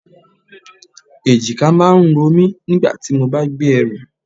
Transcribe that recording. Èjìká máa ń romi nígbà tí mo bá gbé ẹrù.